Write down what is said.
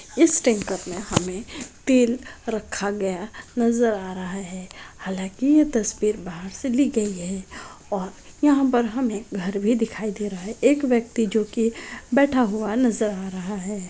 इस में हमे तेल रखा गया नजर आ रहा है हालांकि ये तस्वीर बाहर से ली गई हैं और यहां पर हमे घर भी दिखाई दे रहा है एक व्यक्ति जो कि बैठा हुआ नजर आ रहा है।